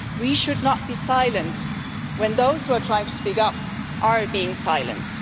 We should not be silent when those who are trying to speed up are being silenced.